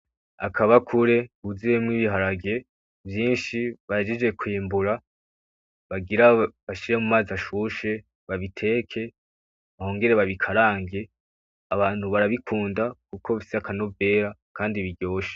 Akabakure kuzuyemo ibiharage vyinshi bahejeje kwimbura. Bagira bashire mumazi ashushe babiteke bongere babikarange. Abantu barabikunda kuko bifise akanovera kandi biryoshe.